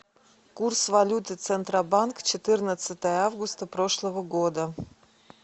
курс валюты центробанк четырнадцатое августа прошлого года